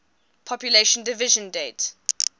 population division date